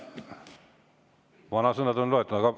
Vanasõnad on ette loetud!